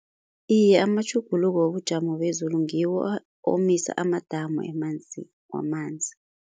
Iye amatjhuguluko wobujamo bezulu ngiwo omisa amadamu wamanzi.